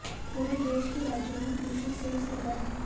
पूरे देश के राज्यों में कृषि सेस लगा है